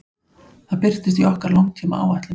Það birtist í okkar langtímaáætlun.